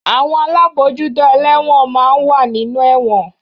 Àwọn alábòójútó ẹlẹ́won máa ń wà nínú ẹ̀wọ̀n